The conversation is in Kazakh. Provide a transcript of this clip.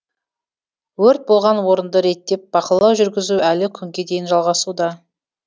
өрт болған орынды реттеп бақылау жүргізу әлі күнге дейін жалғасуда